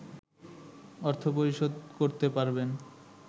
অর্থ পরিশোধ করতে পারবেন